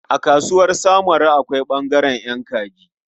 A Kasuwar samaru akwai ɓangaren ƴan kaji.